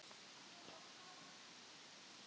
Þessi gamli maður var þó afi minn.